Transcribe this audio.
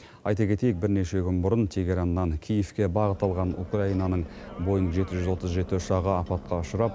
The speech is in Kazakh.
айта кетейік бірнеше күн бұрын тегераннан киевке бағыт алған украинаның боинг жеті жүз отыз жеті ұшағы апатқа ұшырап